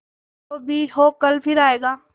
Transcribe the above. जो भी हो कल फिर आएगा